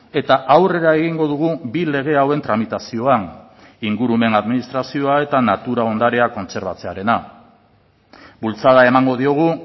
eta aurrera egingo dugu bi lege hauen tramitazioan ingurumen administrazioa eta natura ondarea kontserbatzearena bultzada emango diogu